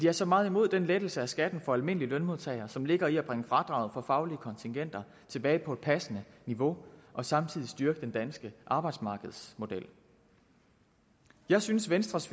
er så meget imod den lettelse af skatten for almindelige lønmodtagere som ligger i at bringe fradraget for faglige kontingenter tilbage på et passende niveau og samtidig styrke den danske arbejdsmarkedsmodel jeg synes venstres